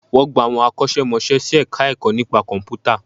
Wọ́n gba àwọn akọ́ṣẹ́ mọṣẹ́ sí Ẹ̀ka-ẹ̀kọ́ nípa Kọ̀m̀pútà